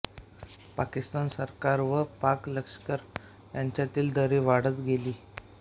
पाकिस्तान सरकार व पाक लष्कर यांच्यातील दरी वाढत गेली